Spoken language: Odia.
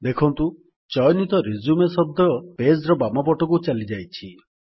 ଦେଖନ୍ତୁ ଚୟନିତ ରିଜ୍ୟୁମ ଶବ୍ଦ ପେଜ୍ ର ବାମ ପଟକୁ ଚାଲିଯାଇଛି